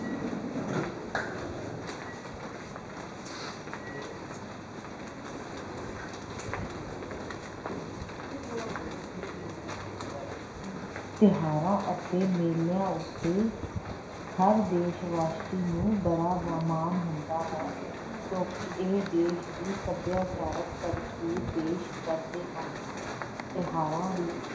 ਤਿਉਹਾਰਾਂ ਅਤੇ ਮੇਲਿਆਂ ਉੱਤੇ ਹਰ ਦੇਸ ਵਾਸੀ ਨੂੰ ਬੜਾ ਹੁੰਦਾ ਹੈ ਕਿਉਂਕਿ ਇਹ ਦੇਸ ਦੀ ਸੱਭਿਆਚਾਰਕ ਤਸਵੀਰ ਪੇਸ ਕਰਦੇ ਹਨ ਤਿਉਹਾਰਾਂ ਵੀ